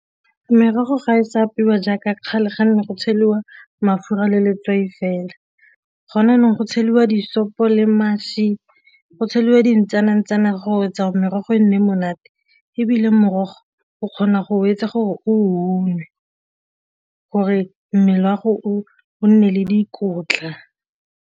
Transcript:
Merogo ga e sa apeiwa jaaka kgale ganne go tsheliwa mafura le letswai fela, gona jaanong go tsheliwa disopo le mašwi go tsheliwa dintsanantsana go etsa merogo e nne monate. Ebile morogo o kgona go etsa gore o nwe gore mmele wa gago o nne le dikotla.